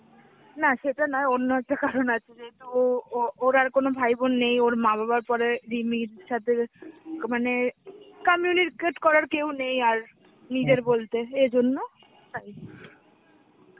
না সেটা নয়, অন্য একটা কারণ আছে. যেহেতু ও ও~ ওর আর কোনো ভাই বোন নেই, ওর মা বাবার পরে রিমির সাথে যে মানে communicate করার কেউ নেই আর, নিজের বলতে এজন্য .